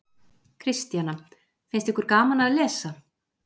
Kristjana: Finnst ykkur gaman að lesa?